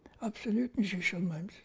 абсолютно шеше алмаймыз